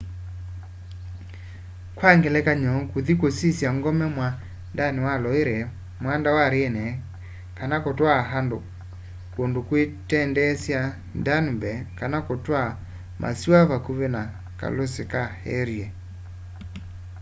kwang'elekanyo kũthĩ kũsyĩsya ng'ome mwandanĩ wa loĩre mwanda wa rhĩne kana kũtwaa andũ kũndũ kwĩkwendeesya danũbe kana kũtwaa masĩwa vakũvĩ na kalũsĩ ka erie